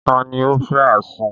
Ta ni ó fẹ́ àsun?